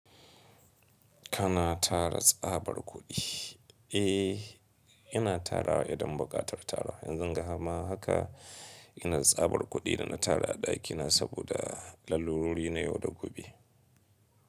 Kana tara tsabar kuɗi? Eh, ina tarawa idan buƙatar tarawa. Yanzun ga ma haka. Ina da tsabar kuɗi da na tara a ɗakina saboda lallurori na yau da gobe.